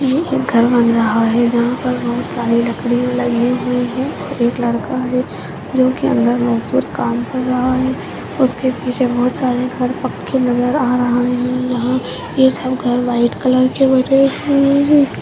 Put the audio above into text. ये एक घर बन रहा है जहाँ पर बहौत सारी लकड़िया लगी हुई हैं और एक लड़का है जो की अंदर मजदुर काम कर रहा है उसके पीछे बहौत सारे घर पक्के नजर आ रहे हैं यहाँ ये सब घर व्हाइट कलर